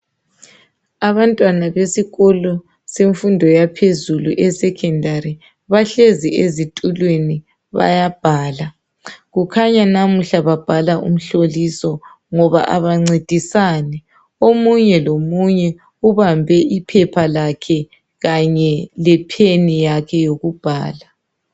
Abantwana besikolo semfundo yaphezulu esecondary bahlezi ezitulweni bayabhala .Kukhanya namuhla babhala umhloliso. Ngoba abancedisani .Omunye lomunye ubambe iphepha lakhe kanye lepen yakhe yokubhala .